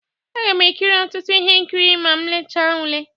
Aga m ekiri ọtụtụ ihe nkiri ma m lelecha ụle.